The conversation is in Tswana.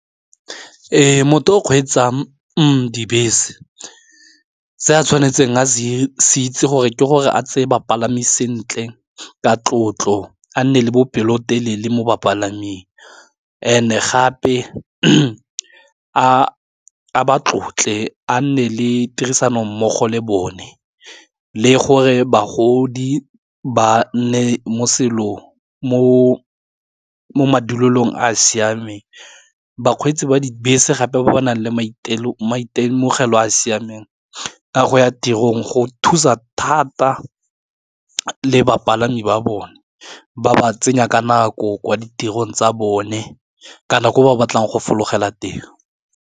E motho o kgweetsang dibese se a tshwanetseng a se itse gore ke gore a tseye bapalami sentle ka tlotlo, a nne le bopelotelele mo bapalaming and-e gape a ba tlotle a nne le tirisano mmogo le bone, le gore bagodi ba nne mo selong mo madulelong a siameng, bakgweetsi ba dibese gape ba ba nang le maitemogelo a siameng a go ya tirong go thusa thata le bapalami ba bone, ba ba tsenya ka nako kwa ditirong tsa bone, ka na ko ba batlang go fologelang teng.